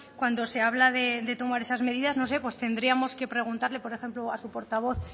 cuando se habla de tomar esas medidas no sé pues tendríamos que preguntarle por ejemplo a su portavoz